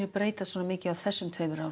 breytist svona mikið á þessum tveimur árum